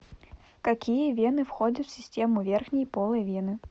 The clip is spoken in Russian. какие вены входят в систему верхней полой вены